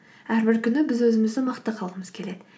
әрбір күні біз өзімізді мықты қылғымыз келеді